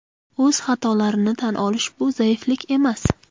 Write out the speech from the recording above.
O‘z xatolarini tan olish bu zaiflik emas.